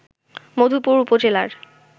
মধুপুর উপজেলার